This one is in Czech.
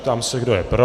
Ptám se, kdo je pro.